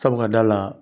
Sabu ka d'a kan